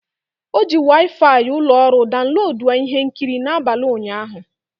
O ji Waifai ụlọ ọrụ daunloduo ihe nkiri n'abalị ụnyaahụ.